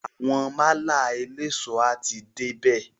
Àwọn málà eléso a ti dé bè.